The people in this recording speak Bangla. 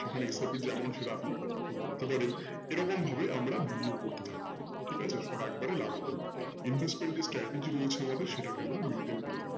সেখানে SIP যেমন সেটা কতটা বাড়াতে পারেন এরকম ভাবে আমরা বিনিয়োগ করতে থাকবো ঠিক আছে সব একবারে লাগাবো না investment যে strategy রয়েছে আমাদের সেটাকে আমরা maintain করে থাকবো